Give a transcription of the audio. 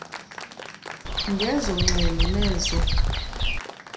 ngezo ngxelo nezo